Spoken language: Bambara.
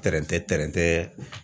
Tɛrɛntɛ tɛrɛntɛ